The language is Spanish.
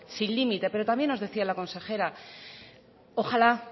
sin límite pero también nos decía la consejera ojala